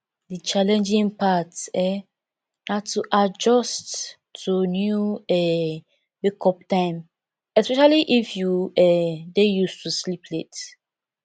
di challenging part um na to adjust to new um wakeup time especially if you um dey used to sleep late